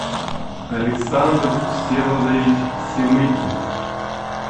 александр всеволодович семыкин